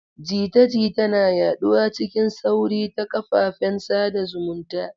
Jita-jita na yaɗuwa cikin sauri ta ƙafafen sada zumunta.